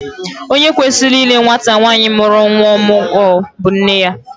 Onye kwesịrị ile nwata nwaanyị mụrụ nnwa ọmụgwọ bụ nne ya